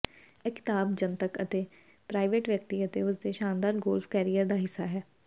ਇਹ ਕਿਤਾਬ ਜਨਤਕ ਅਤੇ ਪ੍ਰਾਈਵੇਟ ਵਿਅਕਤੀ ਅਤੇ ਉਸ ਦੇ ਸ਼ਾਨਦਾਰ ਗੋਲਫ ਕੈਰੀਅਰ ਦਾ ਹਿੱਸਾ ਹੈ